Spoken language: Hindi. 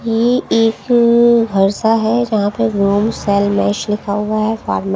ये एक घरसा है जहां पे रोम सेल मैश लिखा हुआ है और--